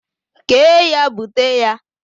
kee ya bute ya.!